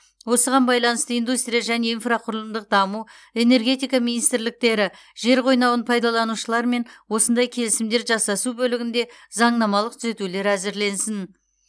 осыған байланысты индустрия және инфрақұрылымдық даму энергетика министрліктері жер қойнауын пайдаланушылармен осындай келісімдер жасасу бөлігінде заңнамалық түзетулер әзірлесін